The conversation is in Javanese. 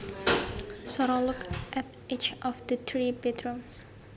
Sara looked at each of the three bedrooms